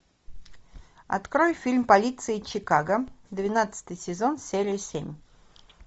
открой фильм полиция чикаго двенадцатый сезон серия семь